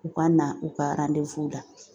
U ka na u ka la